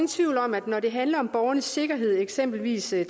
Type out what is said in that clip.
tvivl om at når det handler om borgernes sikkerhed eksempelvis i